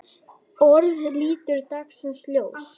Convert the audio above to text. ORÐIÐ lítur dagsins ljós.